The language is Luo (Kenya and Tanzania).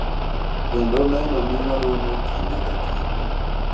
kendo neno ni waromo kinde ka kinde